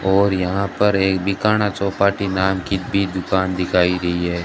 और यहां पर एक बिकाना चौपाटी नाम की भी दुकान दिखाई गई है।